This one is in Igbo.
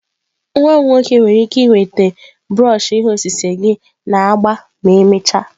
Nwa m nwoke nwere ike iweta brush ihe osise gị na agba ma emechaa.